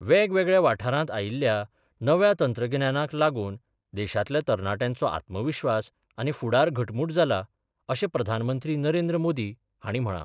वेगवेगळ्या वाठारात आयील्या नव्या तंत्रगिन्याक लागून देशांतल्या तरनाट्यांचो आत्मविश्वास आनी फूडार घटमूट जाला अशें प्रधानमंत्री नरेंद्र मोदी हांणी म्हळा.